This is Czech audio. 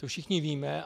To všichni víme.